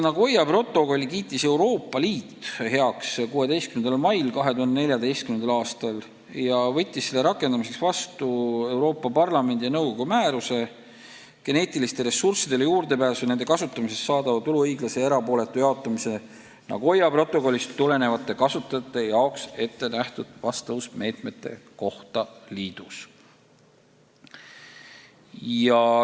Nagoya protokolli kiitis Euroopa Liit heaks 16. mail 2014. aastal ja võttis selle rakendamiseks vastu Euroopa Parlamendi ja nõukogu määruse geneetilistele ressurssidele juurdepääsu ja nende kasutamisest saadava tulu õiglase ja erapooletu jaotamise Nagoya protokollist tulenevate kasutajate jaoks ettenähtud vastavusmeetmete kohta liidus.